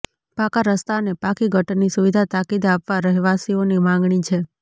પાકા રસ્તા અને પાકી ગટરની સુવિધા તાકીદે આપવા રહેવાસીઓની માગણી છે